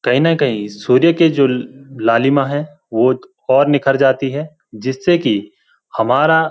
कई न कई सूर्य की जो ल-लालिमा है वो त निखर जाती है जिससे की हमारा --